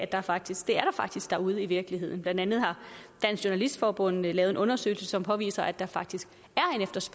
der faktisk derude i virkeligheden blandt andet har dansk journalistforbund lavet en undersøgelse som påviser at der faktisk